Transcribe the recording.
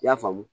I y'a faamu